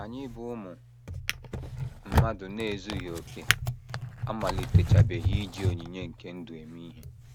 Anyị bụ́ ụmụ mmadụ na - ezughị okè amalitechabeghị iji onyinye nke ndụ eme ihe.